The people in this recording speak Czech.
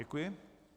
Děkuji.